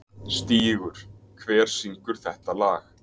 Stígur, hver syngur þetta lag?